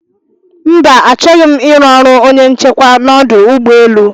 Mba, achọghị m iru ọrụ onye nchekwa n'ọdụ ụgbọ elu